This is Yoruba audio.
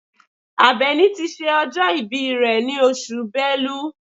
Àbẹ̀ní ti ṣe ọjọ́ ìbí rẹ̀ ní oṣù Bẹ́lú.